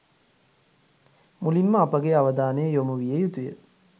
මුලින් ම අප ගේ අවධානය යොමු විය යුතු ය.